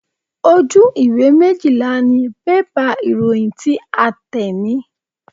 Ojú ìwé méjìlá ni bébà ìròyìn tí a tẹ̀ ní.